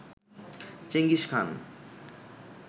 Genghis Khan